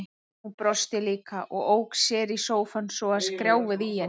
Hún brosti líka og ók sér í sófanum svo að skrjáfaði í henni.